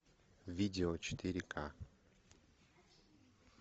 видео четыре к